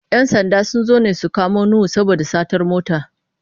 ‘Yan sanda sun zo ne su kamo Nuhu saboda satar mota.